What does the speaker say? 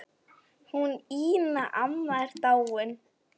Hún Ína amma er dáin.